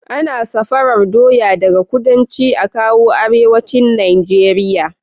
Ana safarar doya daka kudanci akawo arewacin nigeria